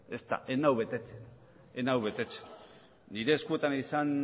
ezta ez nau betetzen ez nau betetzen nire eskuetan izan